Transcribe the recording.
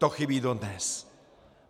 To chybí dodnes!